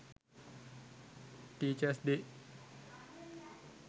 teachers day